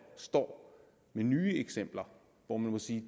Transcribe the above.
står med nye eksempler hvor man må sige